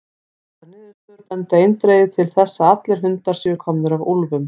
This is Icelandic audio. Þessar niðurstöður benda eindregið til þess að allir hundar séu komnir af úlfum.